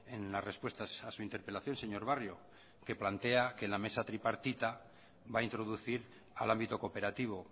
en las respuestas a su interpelación señor barrio que plantea que la mesa tripartita va a introducir al ámbito cooperativo